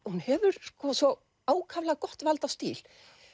hún hefur svo ákaflega gott vald á stíl